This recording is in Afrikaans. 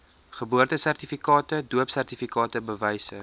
geboortesertifikate doopsertifikate bewyse